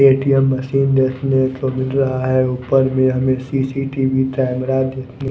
ATM machine देखने को मिल रहा है ऊपर भी में हमें सी_सी_टी_वी कैमरा देखने--